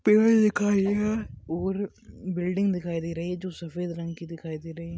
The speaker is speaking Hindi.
पिऊल दिखाई दे रहा है और बिल्डिंग दिखाई दे रही है जो सफेद रंग कि दिखाई दे राही है।